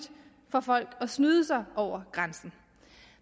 for folk at snyde sig over grænsen